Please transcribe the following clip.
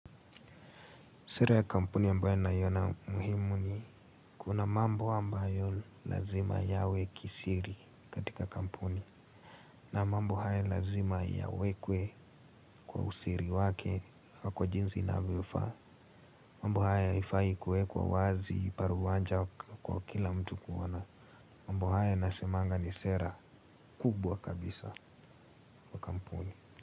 Sera ya kampuni ambayo naiona muhimu ni kuna mambo ambayo lazima yawe kisiri katika kampuni. Na mambo haya lazima yawekwe kwa usiri wake kwa jinsi inavyofaa. Mambo haya haifai kuwekwa wazi paruwanja kwa kila mtu kuona. Mambo haya nasemanga ni sera kubwa kabisa.